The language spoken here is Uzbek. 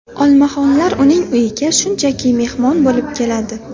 Olmaxonlar uning uyiga shunchaki mehmon bo‘lib keladi.